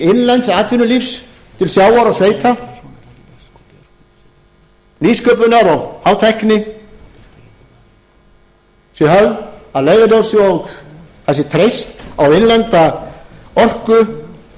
innlends atvinnulífs til sjávar og sveita nýsköpunar og hátækni sé höfð að leiðarljósi og það sé treyst á innlenda orku